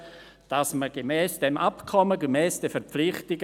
Für die SP-JUSO-PSA-Fraktion hat Grossrat Mentha das Wort.